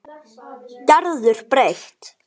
Gerður breytt.